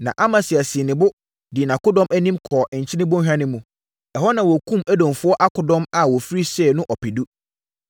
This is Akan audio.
Na Amasia sii ne bo, dii nʼakodɔm anim, kɔɔ Nkyene Bɔnhwa no mu. Ɛhɔ na wɔkumm Edomfoɔ akodɔm a wɔfiri Seir no ɔpedu.